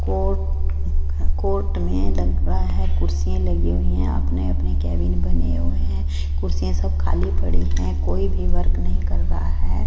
Court court में लग रहा है कुर्सियाँ लगी हुई हैं अपने-अपने केबिन बने हुए है कुर्सियाँ सब खाली पड़ी हैं कोई भी वर्क नहीं कर रहा है।